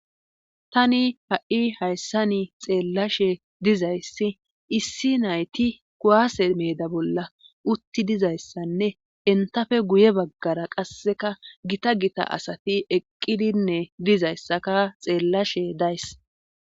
Tani ha'i hayssani xeellashe dizayssi issi nayti kuwaase meeda bolla utti dizayssanne entafe guye baggara qasseka gita gita asati eqqidinne dizayssaka xeellashe days.